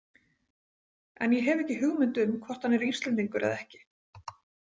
En ég hef ekki hugmynd um hvort hann er Íslendingur eða ekki.